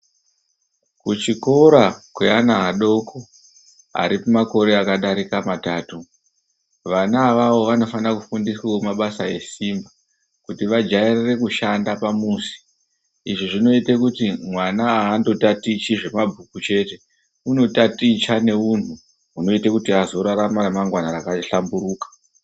Kuchikora kweana adoko ari kumakore akadarike matatu vana avavo vanofane kufundiswe mabasa esimba kuti vajaiye kushanda pamuzi izvi zvinoite kuti mwana aandotatichi zvemabhuku chete unotaticha neunhu hunoita kuti azorarama ramangwana rakahlamburuka.